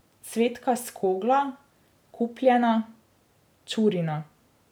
Cvetka s Kogla, Kupljena, Čurina ...